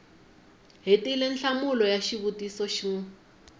hetile nhlamulo ya xivutiso xin